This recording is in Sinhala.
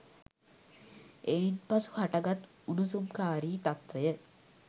එයින් පසු හටගත් උණුසුම්කාරී තත්වය